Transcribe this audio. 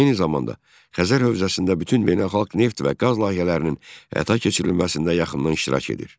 Eyni zamanda, Xəzər hövzəsində bütün beynəlxalq neft və qaz layihələrinin həyata keçirilməsində yaxından iştirak edir.